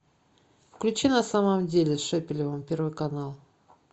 включи на самом деле с шепелевым первый канал